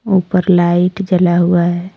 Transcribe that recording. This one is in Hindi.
ऊपर लाइट जला हुआ हैं।